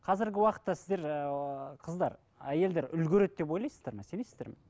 қазіргі уақытта сіздер ыыы қыздар әйелдер үлгереді деп ойлайсыздар ме сенесіздер ме